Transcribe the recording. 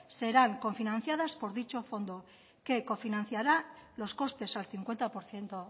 serán cofinanciadas por dicho fondo que cofinanciará los costes al cincuenta por ciento